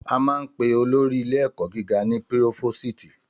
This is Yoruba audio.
Àmà ń pẹ òlòrí ìlé ẹkọ gíga ni pírófósìtì